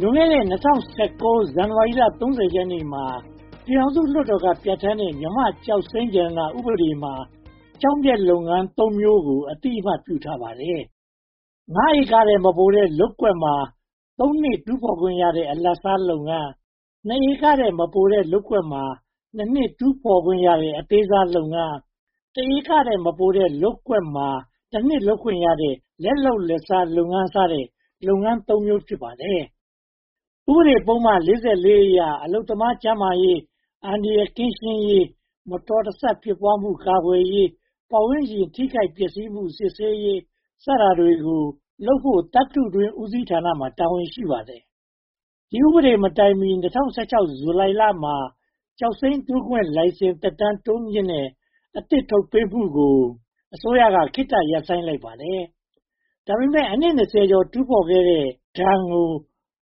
လွန်ခဲ့တဲ့ (၂၀၁၉) ဇန်နဝါရီလ (၃၀) ရက်နေ့မှာ ပြည်ထောင်စုလွှတ်တော်က ပြဌာန်းတဲ့ မြန်မာ့ကျောက်မျက်ရတနာ ဥပဒေမှာ ကျောက်မျက်လုပ်ငန်းသုံးမျိုးကို အသိအမှတ် ပြုထားပါတယ်။ (၅) ဧကထက် မပိုတဲ့ လုပ်ကွက်မှာ (၃) နှစ် တူးဖော်ခွင့်ရတဲ့ အလတ်စားလုပ်ငန်း၊ (၂) ဧကထက် မပိုတဲ့လုပ်ကွက်မှာ (၂) နှစ် တူးဖော်ခွင့်ရတဲ့ အသေးစားလုပ်ငန်း၊ (၁) ဧကထက် မပိုတဲ့ လုပ်ကွက်မှာ (၁) နှစ် လုပ်ခွင့်ရတဲ့ လက်လုပ်လက်စားလုပ်ငန်း စတဲ့ လုပ်ငန်း (၃) မျိုး ဖြစ်ပါတယ်။ ဥပဒေပုဒ်မ (၄၄) အရ အလုပ်သမားကျန်းမာရေး၊ အန္တရာယ်ကင်းရှင်းရေး၊ မတော်မဆဖြစ်ပွားမှု ကာကွယ်ရေး၊ ပတ်ဝန်းကျင်ထိခိုက်ပျက်ဆီးမှု စစ်ဆေးရေးတွေကို လုပ်ကိုင်ဖို့ သတ္တုတွင်းဦးစီးဌာနမှာ တာဝန်ရှိပါတယ်။ ဒီဥပဒေမတိုင်မီ (၂၀၁၆) ဇူလိုင်လမှာ ကျောက်စိမ်းတူးဖော်ခွင့် လိုင်စင်သက်တမ်း တိုးမြှင့်မှုနဲ့အသစ် ထုတ်ပေးမှုကို အစိုးရက ခေတ္တရပ်ဆိုင်းထားပါတယ်။ ဒါပေမဲ့ အနှစ် (၂၀) ကျော် တူးဖော်ခဲ့တဲ့ဒဏ်ကို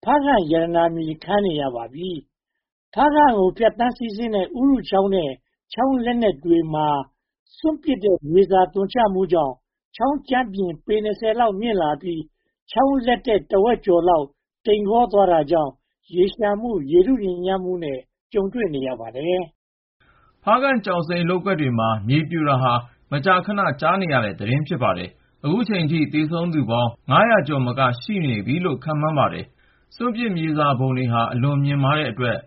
ဖားကန့်ရတာ ကြာခဲ့ပါပြီ။ ဖားကန့်ကိုဖြတ်ပြီး စီးဆင်းတဲ့ ဥရုချောင်းနဲ့ ချောင်းလက်တက်တွေထဲ စွန့်ပစ်မြေစာ သွန်ချမှုကြောင်း ချောင်းကြမ်းပြင်ပေ (၂၀) လောက် မြင့်လာပြီး ချောင်းလက်တက် တဝက်ကျော်ဟာ တိမ်ကောသွားတာကြောင့် ရေလျှံမှု၊ ရေထုညစ်ညမ်းမှုနဲ့ ကြုံတွေ့နေရပါတယ်။ ဖားကန့်ကျောက်စိမ်းလုပ်ငန်းတွေမှာ မြေပြိုတာဟာ မကြာခဏ ကြားရတဲ့သတင်း ဖြစ်ပါတယ်။ အခုအချိန်အထိ သေဆုံးသူပေါင်း (၅၀၀) ကျော် ရှိနိုင်တယ်လို့ ခန့်မှန်းပါတယ်။ စွန့်ပစ်မြေစာပုံတွေဟာ အလွန်မြင့်မားတဲ့အတွက်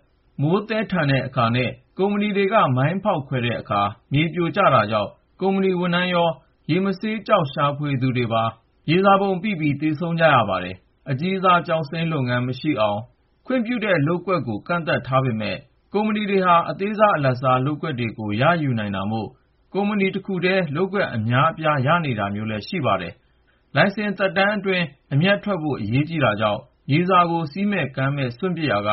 မိုးသည်းတဲ့အခါနဲ့ ကုမ္ပဏီတွေက မိုင်းဖောက်ခွဲတဲ့အခါမှာ မြေပြိုတာကြောင့် ကုမ္ပဏီဝန်ထမ်းရော၊ ရေမဆေးသမားတွေပါ မြေမြုပ်ခံရပြီး သေဆုံးကြရပါတယ်။ အကြီးစားကျောက်စိမ်း လုပ်ငန်းမရှိအောင် ခွင့်ပြုထားတဲ့ လုပ်ကွက်တွေ ကန့်သတ်ထားပေမယ့် ကုမ္ပဏီတွေဟာ အသေးစား၊ အလတ်စား လုပ်ကွက်တွေကို ရယူနိုင်တာမို့ ကုမ္ပဏီတခုတည်း လုပ်ကွက်အများအပြား ရတာမျိုး ရှိပါတယ်။ လိုင်စင်နှစ်အတွင်း အမြတ်ထွက်ဖို့ အရေးကြီးတာကြောင့် မြေစာကို စည်းကမ်းမရှိ စွန့်ပစ်ရာက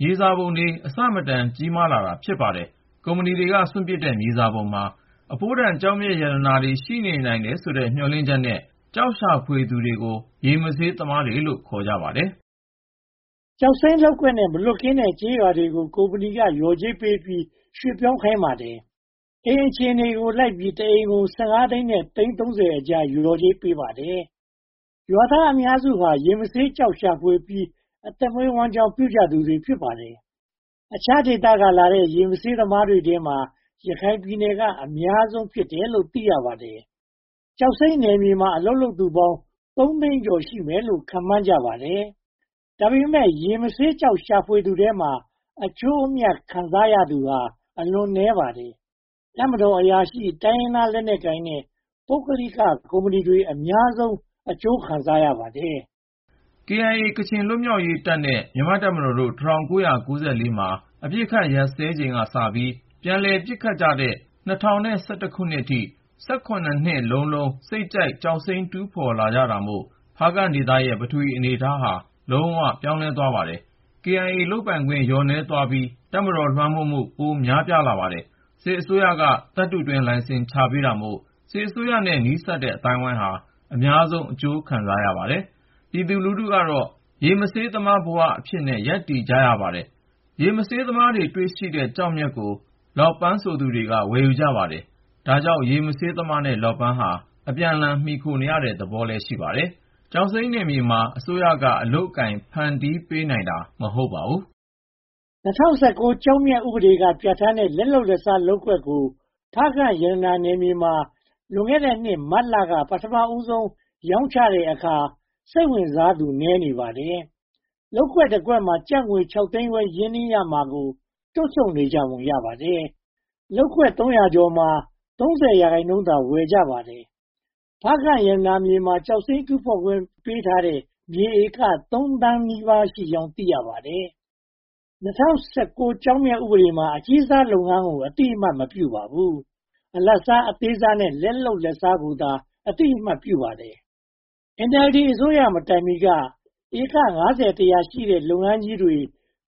မြေစာပုံတွေ အဆမတန် ကြီးမားလာတာ ဖြစ်ပါတယ်။ ကုမ္ပဏီတွေက စွန့်ပစ်တဲ့ မြေစာပုံမှာ အဖိုးတန်ကျောက်မျက် ပါဝင်နိုင်တယ်လို့ မျှော်လင့်ပြီး ကျောက်ရှာဖွေသူကို ရေမဆေးသမားလို့ ခေါ်ပါတယ်။ ကျောက်စိမ်းလုပ်ကွက်နဲ့ မလွတ်ကင်းတဲ့ ကျေးရွာတွေကို ကုမ္ပဏီက လျှော်ကြေးပေးပြီး ရွှေ့ပြောင်းခိုင်းပါတယ်။ အိမ်အခြေအနေကိုလိုက်ပြီး တအိမ်ကို (၁၅) သိန်းနဲ့ သိန်း (၃၀) အကြား လျှော်ကြေးပေးပါတယ်။ ရွာသားအများစုဟာ ရေမဆေးကျောက်ရှာဖွေပြီး အသက်မွေးဝမ်းကျောင်း ပြုကြသူတွေ ဖြစ်ပါတယ်။ အခြားဒေသကလာကြတဲ့ ရေမဆေးသမားတွေထဲမှာ ရခိုင်ပြည်နယ်က အများဆုံး ဖြစ်တယ်လို့ သိရပါတယ်။ ကျောက်စိမ်းနယ်မြေမှာ အလုပ်လုပ်သူပေါင်း သုံးသိန်းကျော် ရှိမယ်လို့ ခန့်မှန်းကြပါတယ်။ ဒါပေမဲ့ ရေမဆေးကျောက် ရှာဖွေသူထဲမှာ အကျိုးအမြတ် ခံစားရတာ အလွန်နည်းပါတယ်။ တပ်မတော်အရာရှိ၊ တိုင်းရင်းသားလက်နက်ကိုင်နဲ့ ပုဂ္ဂလိကကုမ္ပဏီတွေ အများဆုံး အကျိုးခံစားရပါတယ်။ KIA ကချင်လွတ်မြောက်ရေးတပ်နဲ့ မြန်မာ့တပ်မတော်ကို ၁၉၉၄ မှာ အပစ်အခတ်ရပ်စဲချိန်ကစပြီး ပြန်လည်ပစ်ခတ်ကြတဲ့ ၂၀၁၁ အထိ၊ (၁၇) နှစ်လုံးလုံး စိတ်ကြိုက်ကျောက်စိမ်း တူးဖော်ကြတာမို့ ဖားကန့်ဒေသရဲ့ ပထဝီအနေအထားဟာ လုံးဝပြောင်းလဲသွားပါတယ်။ KIA လုပ်ပိုင်ခွင့် လျော့နည်းသွားပြီး တပ်မတော် လွှမ်းမိုးမှု ပိုများလာပါတယ်။ စစ်အစိုးရက သတ္တုတွင်းလိုင်စင် ချပေးတာမို့ စစ်အစိုးရနဲ့ နီးစပ်တဲ့ အသိုင်းအဝိုင်းဟာ အများဆုံး အကျိုးခံစားရပါတယ်။ ပြည်သူလူထုကတော့ ရေမဆေးသမားအဖြစ် ဘဝရပ်တည်နေကြရပါတယ်။ ရေမဆေးသမား တွေ့ရှိတဲ့ကျောက်မျက်ကို လောပန်းဆိုသူတွေက ဝယ်ယူကြပါတယ်။ ဒါကြောင့် ရေမဆေးသမားနဲ့ လောပန်းဟာ အပြန်အလှန် မှီခိုနေတဲ့သဘော ရှိပါတယ်။ ကျောက်စိမ်းနယ်မြေမှာ အစိုးရက အလုပ်အကိုင် ဖန်တီးပေးနိုင်တာ မဟုတ်ပါဘူး။ ၂၀၁၉ ကျောက်မျက်ဥပဒေက ပြဌာန်းတဲ့ လက်လုပ်လက်စား လုပ်ကွက်ကို ဖားကန့်ရတနာနယ်မြေမှာ လွန်ခဲ့တဲ့နှစ် မတ်လက ပထမဆုံး ရောင်းချတဲ့အခါ စိတ်ဝင်စားသူ နည်းနေပါတယ်။ လုပ်ကွက်တကွက်မှာ ကျပ် (၆) သိန်းခွဲ ရင်းနှီးရမှာကို တွန့်ဆုတ်နေကြပုံ ရပါတယ်။ လုပ်ကွက်သုံးရာကျော်မှာ (၃၀) ရာခိုင်နှုန်းသာ ဝယ်ယူကြပါတယ်။ ဖားကန့်ရတနာမြေမှာ ကျောက်စိမ်းတူးဖော်ခွင့် ပေးထားတဲ့ မြေဧကသုံးသောင်းနီးပါးရှိကြောင်း သိရပါတယ်။ ၂၀၁၉ ကျောက်မျက်ဥပဒေမှာ အကြီးစားလုပ်ငန်းကို အသိအမှတ် မပြုပါဘူး။ အလတ်စား၊ အသေးစားနဲ့ လက်လုပ်လက်စားကိုသာ အသိအမှတ်ပြုပါတယ်။ NLD အစိုးရမတိုင်မီက ဧက (၅၀-၁၀၀) ရှိတဲ့ လုပ်ငန်းကြီးတွေ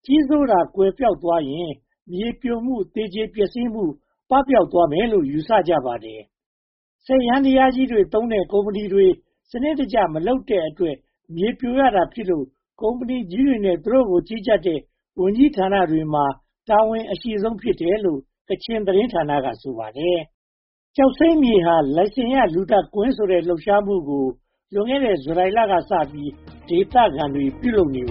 ကြီးစိုးတာ ကွယ်ပျောက်သွားရင် မြေပြိုမှုနဲ့ သေကျေပျက်စီးမှု ပပျောက်သွားမယ်လို့ ယူဆကြပါတယ်။ စက်ယန္တရားကြီးတွေသုံးတဲ့ ကုမ္ပဏီတွေ စနစ်တကျ မလုပ်တဲ့အတွက် မြေပြိုရတာဖြစ်လို့ ကုမ္ပဏီကြီးတွေနဲ့ သူတို့ကို ကြီးကြပ်တဲ့ ဝန်ကြီးဌာနတွေမှာ တာဝန်အရှိဆုံး ဖြစ်တယ်လို့ ကချင်တင်းဌာနက ဆိုပါတယ်။ “ကျောက်စိမ်းမြေဟာ လိုင်စင်ရ လူသတ်ကွင်း” ဆိုတဲ့ လှုပ်ရှားမှုကို လွန်ခဲ့တဲ့ ဇူလိုင်လကစပြီး ဒေသခံတွေ ပြုလုပ်နေပ